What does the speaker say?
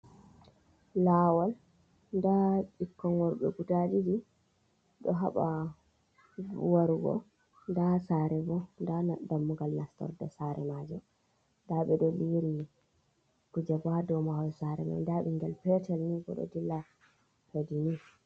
Laawol, nda ɓuikkoi guda ɗiɗi, be butaji ɗoo haɓaa warugo nda sare boo, nda, dammugal nastorde sare majum, daɓee ɗoo liri kujeboo dou mahol saree mai, nda ɓingel petal ni boo ɗoo dilla tanii.